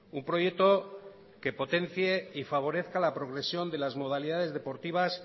un proyecto que potencie y favorezca la progresión de las modalidades deportivas